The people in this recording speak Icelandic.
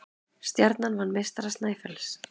Stjarnan vann meistara Snæfells